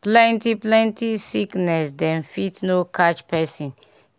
plenti plenti sickness dem fit no catch pesin